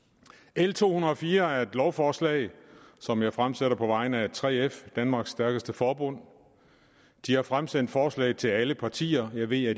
l to hundrede og fire er et lovforslag som jeg fremsætter på vegne af 3f danmarks stærkeste forbund de har fremsendt forslaget til alle partier jeg ved at